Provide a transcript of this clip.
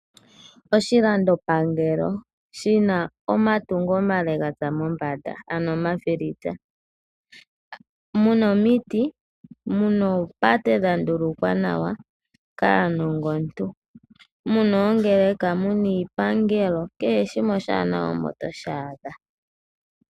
Oshilando pangelo shina omatungo omale gatsa mombanda ano omafilitsa. Muna omiti, muna oopate dhandulukwa nawa kaanongontu, muna oongeleka, muna iipangelo kehe shimwe oshaanawa omo toshaadha.